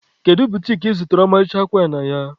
Kedu butiki ị zụtara ọmarịcha akwa a na ya?